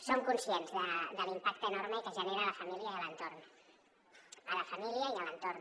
som conscients de l’impacte enorme que genera a la família i a l’entorn a la família i a l’entorn